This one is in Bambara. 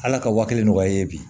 Ala ka wa kelen nɔgɔya ye bi